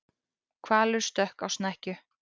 Hvalur stökk á snekkju